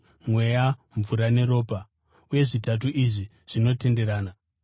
Mweya, mvura, neropa; uye zvitatu izvi zvinotenderana.